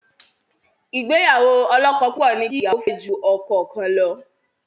Ìgbéyàwó ọlọ́kọ-púpọ̀ ní kí ìyàwó fẹ́ ju ọkọ kan lọ.